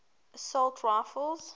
assault rifles